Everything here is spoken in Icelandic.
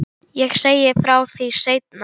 Ég segi frá því seinna.